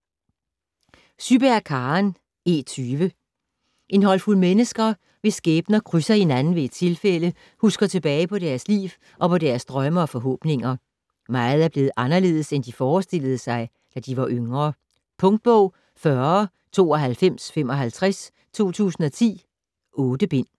Syberg, Karen: E20 En håndfuld mennesker, hvis skæbner krydser hinanden ved et tilfælde, husker tilbage på deres liv og på deres drømme og forhåbninger. Meget er blevet anderledes, end de forestillede sig, da de var yngre. Punktbog 409255 2010. 8 bind.